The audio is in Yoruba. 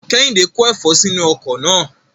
Kehinde ko efo sinu oko naa